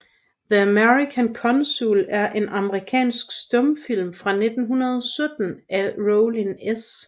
The American Consul er en amerikansk stumfilm fra 1917 af Rollin S